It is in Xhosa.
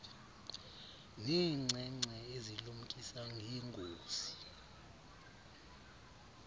neenkcenkce ezilumkisa ngeengozi